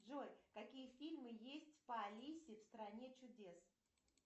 джой какие фильмы есть по алисе в стране чудес